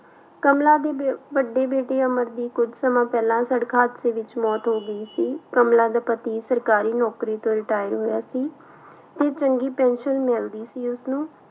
ਕਮਲਾ ਦੀ ਵ ਵੱਡੀ ਬੇਟੇ ਅਮਰ ਦੀ ਕੁੱਝ ਸਮਾਂ ਪਹਿਲਾਂ ਸੜਕ ਹਾਦਸੇ ਵਿੱਚ ਮੌਤ ਹੋ ਗਈ ਸੀ, ਕਮਲਾ ਦਾ ਪਤੀ ਸਰਕਾਰੀ ਨੌਕਰੀ ਤੋਂ retire ਹੋਇਆ ਸੀ ਤੇ ਚੰਗੀ pension ਮਿਲਦੀ ਸੀ ਉਸਨੂੰ।